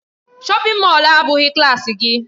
Shọpin Mọll a abụghị klaasị gị.